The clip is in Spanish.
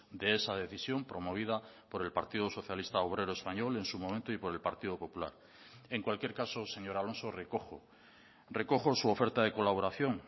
de esa decisión promovida por el partido socialista obrero español en su momento y por el partido popular en cualquier caso señor alonso recojo recojo su oferta de colaboración